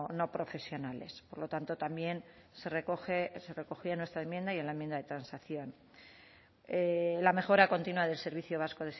no profesionales por lo tanto también se recoge se recogía en nuestra enmienda y en la enmienda de transacción la mejora continua del servicio vasco